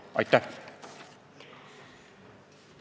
Aitäh!